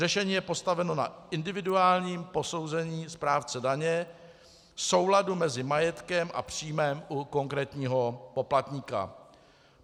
Řešení je postaveno na individuálním posouzení správce daně souladu mezi majetkem a příjmem u konkrétního poplatníka.